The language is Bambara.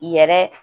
Yɛrɛ